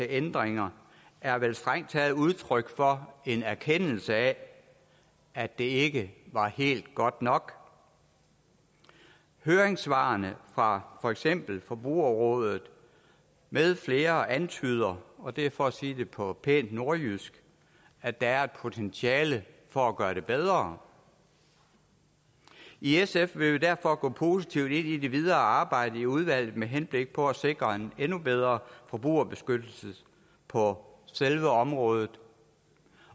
ændringer er vel strengt taget udtryk for en erkendelse af at det ikke var helt godt nok høringssvarene fra for eksempel forbrugerrådet med flere antyder og det er for at sige det på pænt nordjysk at der er et potentiale for at gøre det bedre i sf vil vi derfor gå positivt ind i det videre arbejde i udvalget med henblik på at sikre en endnu bedre forbrugerbeskyttelse på selve området